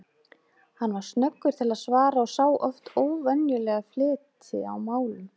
Hann var snöggur til svara og sá oft óvenjulega fleti á málum.